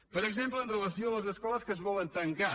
per exemple amb relació a les escoles que es volen tancar